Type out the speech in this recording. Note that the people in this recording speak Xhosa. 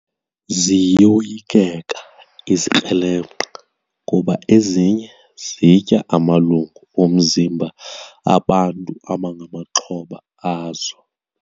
Ziyoyikeka izikrelemnqa kuba ezinye zitya amalungu omzimba bantu abangamaxhoba azo.